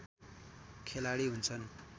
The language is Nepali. खेलाडी हुन्छन्